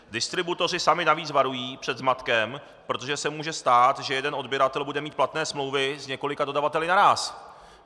Distributoři sami navíc varují před zmatkem, protože se může stát, že jeden odběratel bude mít platné smlouvy s několika dodavateli naráz.